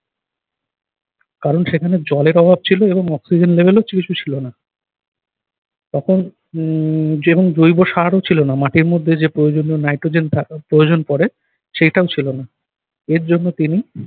কারণ সেখানে জলের অভাব ছিল এবং অক্সিজেন level ও কিছু ছিল না । তখন উহ এবং জৈব সারও ছিল না। মাটির মধ্যে যে প্রয়োজনীয় নাইট্রোজেন থাকার প্রয়োজন পড়ে সেটাও ছিল না, এর জন্য তিনি